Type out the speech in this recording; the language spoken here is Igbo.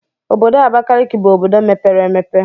Obodo Abakaliki bụ obodo mepere emepe.